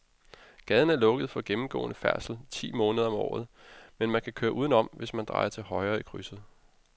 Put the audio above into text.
Gaden er lukket for gennemgående færdsel ti måneder om året, men man kan køre udenom, hvis man drejer til højre i krydset.